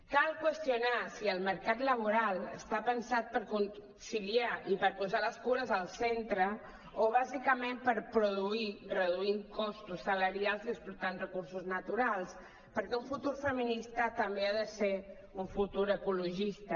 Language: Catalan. cal qüestionar si el mercat laboral està pensat per conciliar i per posar les cures al centre o bàsicament per produir reduint costos salarials i explotant recursos naturals perquè un futur feminista també ha de ser un futur ecologista